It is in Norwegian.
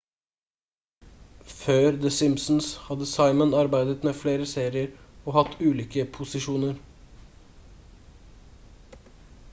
før the simpsons hadde simon arbeidet med flere serier og hatt ulike posisjoner